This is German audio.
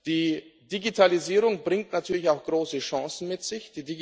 Die Digitalisierung bringt natürlich auch große Chancen mit sich.